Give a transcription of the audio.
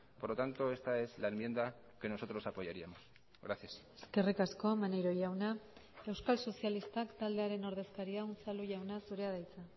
por lo tanto esta es la enmienda que nosotros apoyaríamos gracias eskerrik asko maneiro jauna euskal sozialistak taldearen ordezkaria unzalu jauna zurea da hitza